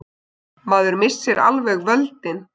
Maður missir alveg völdin.